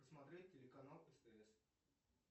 посмотреть телеканал стс